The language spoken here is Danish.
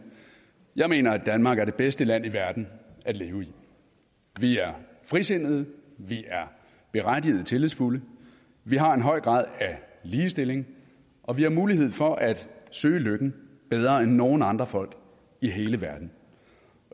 jeg mener at danmark er det bedste land i verden at leve i vi er frisindede vi er berettiget tillidsfulde vi har en høj grad af ligestilling og vi har mulighed for at søge lykken bedre end nogen andre folk i hele verden